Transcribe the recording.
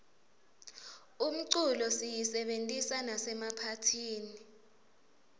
umculo siyisebentisa nasemaphathini